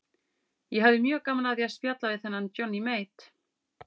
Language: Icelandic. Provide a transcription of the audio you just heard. Ég hefði gaman af því að spjalla við þennan Johnny Mate.